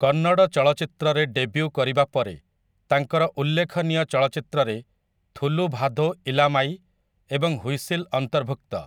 କନ୍ନଡ଼ ଚଳଚ୍ଚିତ୍ରରେ ଡେବ୍ୟୁ କରିବା ପରେ, ତାଙ୍କର ଉଲ୍ଲେଖନୀୟ ଚଳଚ୍ଚିତ୍ରରେ 'ଥୁଲୁଭାଧୋ ଇଲାମାଇ' ଏବଂ 'ହ୍ୱିସିଲ୍' ଅନ୍ତର୍ଭୁକ୍ତ ।